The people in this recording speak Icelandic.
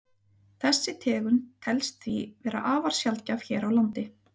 Þessi tegund telst því vera afar sjaldgæf hér á landi.